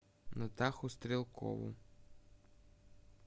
натаху стрелкову